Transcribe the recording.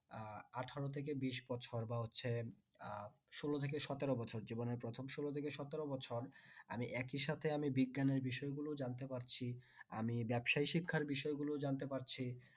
আহ আঠেরো থেকে বিশ বছর বা হচ্ছে আহ ষোল থেকে সতেরো বছর জীবনের প্রথম ষোল থেকে সতেরো বছর আমি একি সাথে বিজ্ঞানের বিষয় গুলো জানতে পারছি আমি ব্যাবসায় শিক্ষার বিষয় গুলো জানতে পারছি